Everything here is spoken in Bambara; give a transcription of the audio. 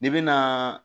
N'i bena